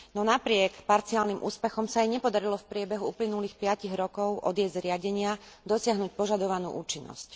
No napriek parciálnym úspechom sa jej nepodarilo v priebehu uplynulých piatich rokov od jej zriadenia dosiahnuť požadovanú účinnosť.